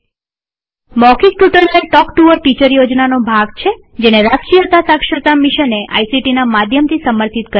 મૌખિક tutorial talk to a teacher યોજનાનો ભાગ છેજેને રાષ્ટ્રીય સાક્ષરતા મિશને આઇસીટી ના માધ્યમથી સમર્થિત કરેલ છે